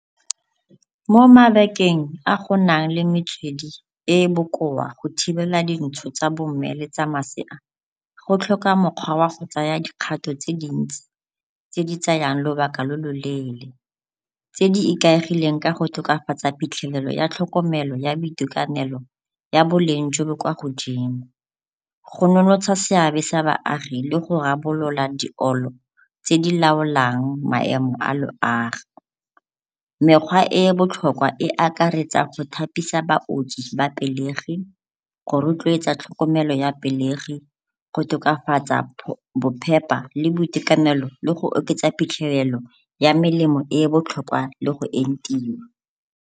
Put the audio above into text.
Mo mabakeng a go nang le metswedi e e bokoa go thibela dintsho tsa bo mme le tsa masea, go tlhoka mokgwa wa go tsaya dikgato tse dintsi tse di tsayang lobaka lo lo leele tse di ikaegileng ka go tokafatsa phitlhelelo ya tlhokomelo ya boitekanelo ya boleng jo bo kwa godimo. Go seabe sa baagi le go rarabolola di tse di laolang maemo a loago. Mekgwa e e botlhokwa e akaretsa go thapisa baoki ba pelegi, go rotloetsa tlhokomelo ya pelegi, go tokafatsa bophepa le boitekanelo le go oketsa phitlhelelo ya melemo e e botlhokwa le go entiwa.